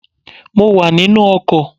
Mo wà nínú ọkọ̀